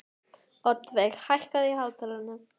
Oddveig, hækkaðu í hátalaranum.